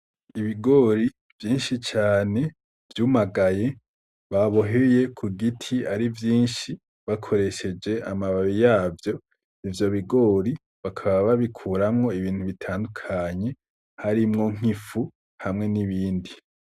Ibigori vyinshi cane vyumagaye baboheye ku giti ari vyinshi bakoresheje amababi yavyo ivyo bigori bakaba babikuramwo ibintu bitandukanye harimwo nk'ifu hamwe n'ibindi.